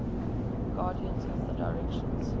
guardians of the directions